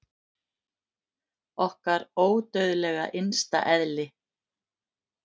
Okkar ódauðlega innsta eðli!